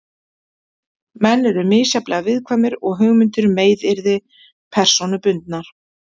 Menn eru misjafnlega viðkvæmir og hugmyndir um meiðyrði persónubundnar.